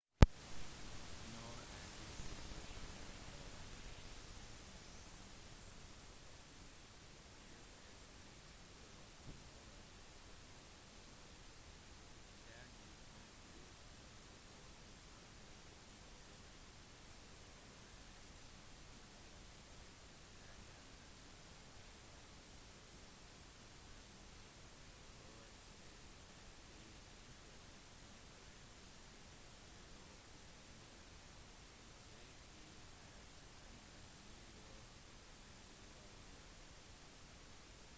når en liten gruppe med levende organismer en liten befolkning blir adskilt fra hovedbefolkningen der de kom fra om de for eksempel beveger seg over et fjellområde eller en elv eller om de flytter til en ny øy slik at de ikke lett kan flytte tilbake vil de ofte finne seg i et annet miljø enn de var i før